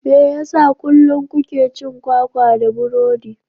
Me yasa kullum kuke cin kwakwa da burodi?